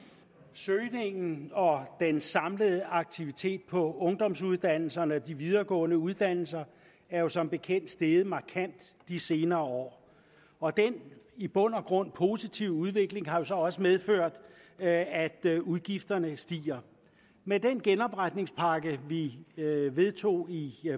søgningen og den samlede aktivitet på ungdomsuddannelserne og de videregående uddannelser er jo som bekendt steget markant i de senere år og den i bund og grund positive udvikling har så også medført at at udgifterne stiger med den genopretningspakke vi vedtog i